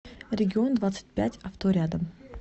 регион двадцать пять авто рядом